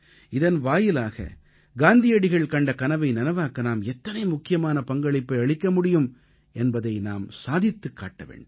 இதன் வாயிலாக காந்தியடிகள் கண்ட கனவை நனவாக்க நாம் எத்தனை முக்கியமான பங்களிப்பை அளிக்க முடியும் என்பதை நாம் சாதித்துக் காட்ட வேண்டும்